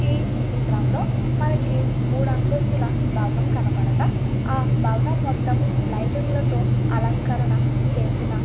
ఈ చిత్రంలో మనకి మూడంతస్తుల భవనం కనపడక భవనం మొత్తం లైటింగ్ల తో అలంకరణ చేసిన --